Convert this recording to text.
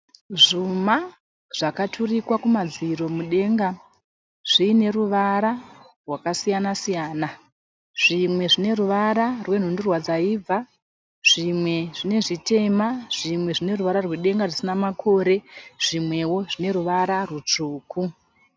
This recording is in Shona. Zvuma zvakaturikwa kumadziro mudenga zviine ruvara rwakasiyana siyana. Zvimwe zvine ruvara rwenhundurwa dzaibva, zvimwe zvine zvitema , zvimwe zvine ruvara rwedenga risina makore, zvimwewo zvine ruvara rwutsvuku.